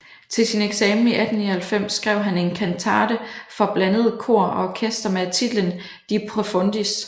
Til sin eksamen i 1899 skrev han en kantate for blandet kor og orkester med titlen De Profundis